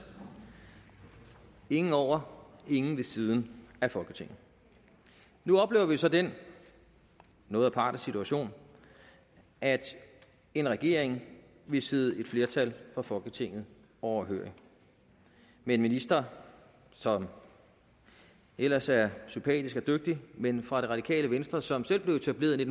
ingen over og ingen ved siden af folketinget nu oplever vi så den noget aparte situation at en regering vil sidde et flertal fra folketinget overhørig med en minister som ellers er sympatisk og dygtig men fra det radikale venstre som selv blev etableret i